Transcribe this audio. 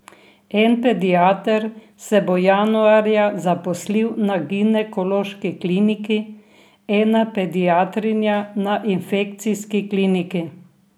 En pediater se bo januarja zaposlil na ginekološki kliniki, ena pediatrinja na infekcijski kliniki.